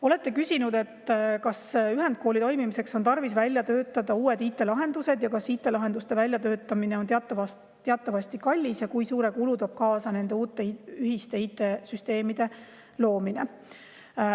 Olete küsinud, kas ühendkooli toimimiseks on tarvis välja töötada uued IT‑lahendused – IT‑lahenduste väljatöötamine on teatavasti kallis – ja kui suure kulu toob kaasa nende uute ühiste IT‑süsteemide loomine.